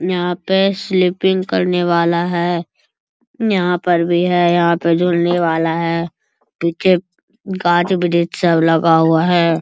यहाँ पे स्लीपिंग करने वाला है | यहाँ पर भी है यहाँ पर जुड़ने वाला है | पीछे गाछ वृक्ष सब लगा हुआ है।